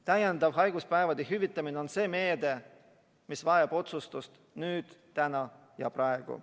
Täiendav haiguspäevade hüvitamine on meede, mis vajab otsustust nüüd, täna ja praegu.